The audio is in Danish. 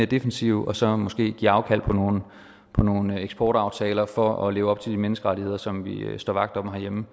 defensive og så måske give afkald på nogle eksportaftaler for at leve op til de menneskerettigheder som vi står vagt om herhjemme